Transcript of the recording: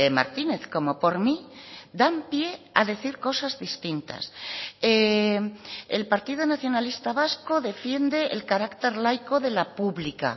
martínez como por mí dan pie a decir cosas distintas el partido nacionalista vasco defiende el carácter laico de la pública